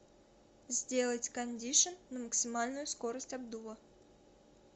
сделать кондишн на максимальную скорость обдува